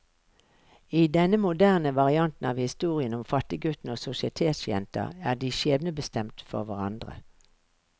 I denne moderne varianten av historien om fattiggutten og sosietetsjenta er de skjebnebestemt for hverandre.